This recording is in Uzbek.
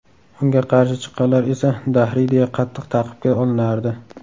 Unga qarshi chiqqanlar esa dahriy deya qattiq ta’qibga olinardi.